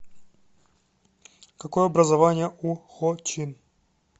какое образование у хо чин